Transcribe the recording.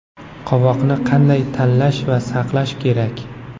Qovoqni qanday tanlash va saqlash kerak?